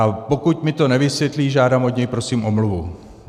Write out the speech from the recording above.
A pokud mi to nevysvětlí, žádám od něj prosím omluvu.